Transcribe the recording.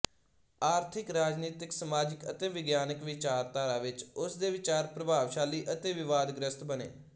ਆਰਥਿਕ ਰਾਜਨੀਤਿਕ ਸਮਾਜਿਕ ਅਤੇ ਵਿਗਿਆਨਿਕ ਵਿਚਾਰਧਾਰਾ ਵਿੱਚ ਉਸ ਦੇ ਵਿਚਾਰ ਪ੍ਰਭਾਵਸ਼ਾਲੀ ਅਤੇ ਵਿਵਾਦਗ੍ਰਸਤ ਬਣੇ